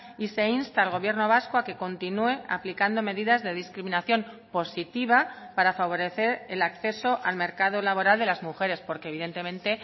y se insta al gobierno vasco a que continúe aplicando medidas de discriminación positiva para favorecer el acceso al mercado laboral de las mujeres porque evidentemente